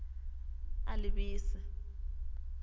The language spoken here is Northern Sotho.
a le b e se